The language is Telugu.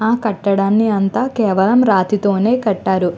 ఆ కట్టడాన్ని అంతా కేవలం రాతితోనే కట్టారు.